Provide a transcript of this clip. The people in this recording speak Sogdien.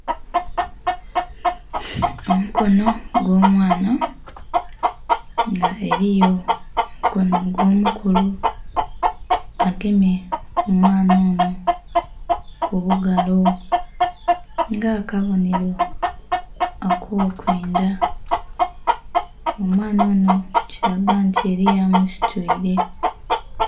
Omukono ogw'omwaana nga eriyo omukono ogw'omukulu agemye omwaana onho kubugalo nga akabonhero akokwendha, omwaana onho kiraga nti eriyo amusitwire.